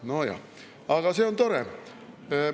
Nojah, aga see on tore.